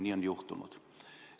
Nii ongi juhtunud.